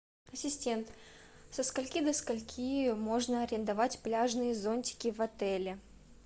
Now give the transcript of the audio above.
ассистент со скольки до скольки можно арендовать пляжные зонтики в отеле